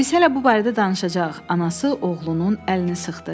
Biz hələ bu barədə danışacağıq,” anası oğlunun əlini sıxdı.